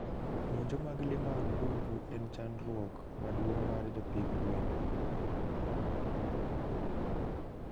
Monjo mag lee mmabungu en chandruok maduong mar jopidh gwen